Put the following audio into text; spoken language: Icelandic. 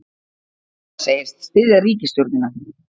Segist styðja ríkisstjórnina